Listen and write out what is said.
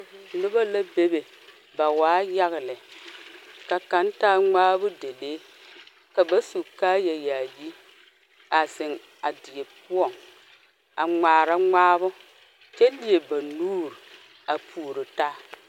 Noba la be be. Ba waa yaga lɛ. Ka kang taa ŋmaabo dalee. Ka ba su kaaya yaaye a zeŋ a die poʊŋ a ŋmaara ŋmaabo kyɛ lie ba nuuru a poʊro taa.